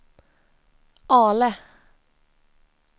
Ale